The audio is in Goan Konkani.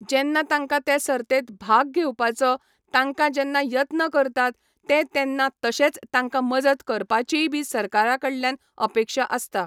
जेन्ना तांकां ते सर्तेंत भाग घेवपाचो तांकां जेन्ना यत्न करतात ते तेन्ना तशेंच तांकां मजत करपाचीय बी सरकारा कडल्यान अपेक्षा आसता.